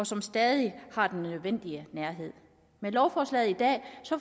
som stadig har den nødvendige nærhed med lovforslaget i dag